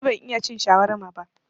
Ni ban iya cin shawarma ba